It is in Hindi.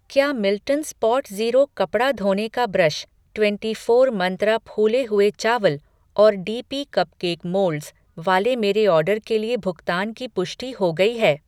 क्या मिल्टन स्पॉटज़ीरो कपड़ा धोने का ब्रश, ट्वेंटी फ़ॉर मंत्रा फूले हुए चावल और डी पी कपकेक मोल्डस वाले मेरे ऑर्डर के लिए भुगतान की पुष्टि हो गई है?